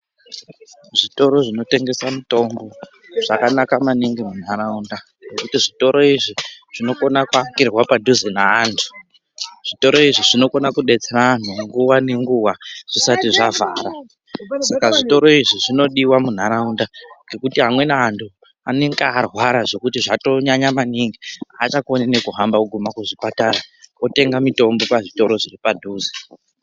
Zvitoro zvinotengese mitombo zvakanaka maningi munharaunda, nekuti zvitoro izvi zvinokona kuakirwa padhuze neantu. Zvitoro izvi zvinokona kubetsera antu nguva nenguva zvisati zvavhara. Saka zvitoro izvi zvinodiva munharaunda ngekuti amweni antu anonga arwara zvekuti zvatonyanya maningi hachakoni nekuguma kuzvipatara, votenga mitombo pazvitoro zviri padhuze.